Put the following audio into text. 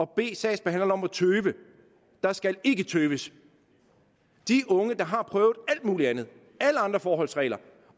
bede sagsbehandleren om at tøve der skal ikke tøves de unge der har prøvet alt muligt andet alle andre forholdsregler